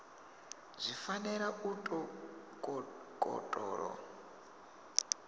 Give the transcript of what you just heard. zwi fanela u tou kokotolo